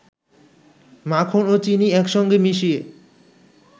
মাখন ও চিনি একসঙ্গে মিশিয়ে